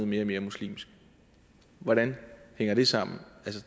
mere og mere muslimsk hvordan hænger det sammen